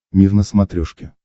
мир на смотрешке